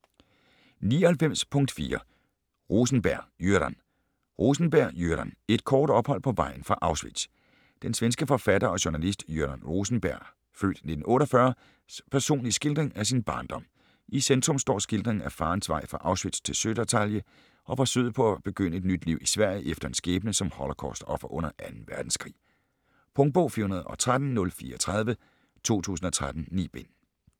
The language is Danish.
99.4 Rosenberg, Göran Rosenberg, Göran: Et kort ophold på vejen fra Auschwitz Den svenske forfatter og journalist Göran Rosenbergs (f. 1948) personlige skildring af sin barndom. I centrum står skildringen af farens vej fra Auschwitz til Södertalje og forsøget på at begynde et nyt liv i Sverige efter en skæbne som holocaust-offer under 2. verdenskrig. Punktbog 413034 2013. 9 bind.